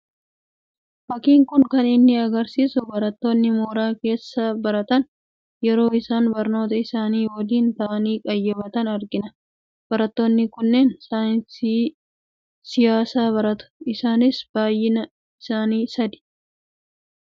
Fakkiin Kun kan inni argisiisu, barattoonni mooraa keessa baratan yeroo isaan barnoota isaanii waliin ta'anii qayyabatan argina. Barattoonni kunneen saayinsii siyaasaa baratu. Isaanis baayyinni isaanii sadii. Isin biratti saayinsii siyaasaaf ilaalcha akkamii qabdu?